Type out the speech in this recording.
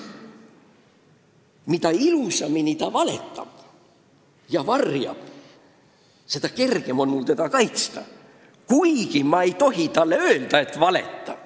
Mida ilusamini ta valetab ja varjab, seda kergem on mul teda kaitsta, kuigi ma ei tohi talle öelda, et valeta.